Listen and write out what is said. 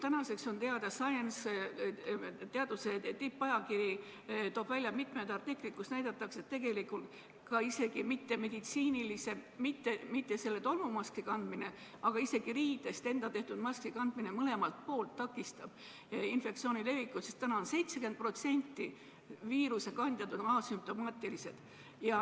Tänaseks on teada – teaduse tippajakiri Science toob selle kohta välja mitmed artiklid –, et isegi mittemeditsiinilise maski, mis on ise riidest tehtud, kandmine takistab infektsiooni levikut, sest täna on 70% viirusekandjaid asümptomaatilised.